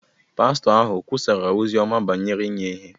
pastọ ahụ ọ̀ kwusara ozi ọma banyere inye ihe?